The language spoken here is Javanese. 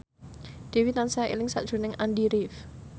Dewi tansah eling sakjroning Andy rif